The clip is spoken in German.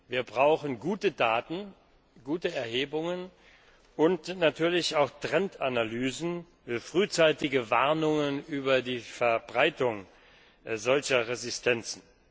Wir brauchen gute Daten, gute Erhebungen und natürlich auch Trendanalysen, frühzeitige Warnungen über die Verbreitung solcher Resistenzen.